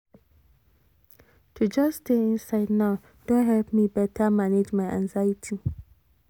to just stay inside now don help me better manage my anxiety